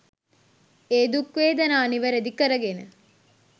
ඒ දුක් වේදනා නිවැරදි කරගෙන